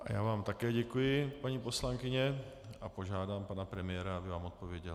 Já vám také děkuji, paní poslankyně, a požádám pana premiéra, aby vám odpověděl.